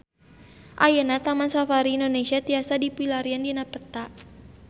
Ayeuna Taman Safari Indonesia tiasa dipilarian dina peta